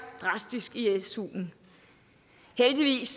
drastisk i suen heldigvis